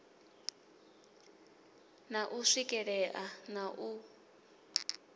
na u swikelea na u